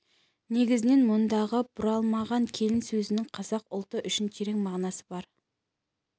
негізінен мұндағы бұрмаланған келін сөзінің қазақ ұлты үшін терең мағынасы бар